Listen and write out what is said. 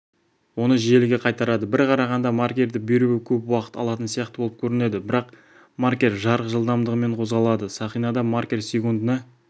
оны желіге қайтарады бір қарағанда маркерді беруі көп уақыт алатын сияқты болып көрінеді бірақ маркер жарық жылдамдығымен қозғалады сақинада маркер секундына